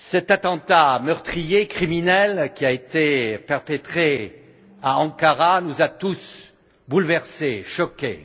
L'attentat meurtrier et criminel qui a été perpétré à Ankara nous a tous bouleversés et choqués.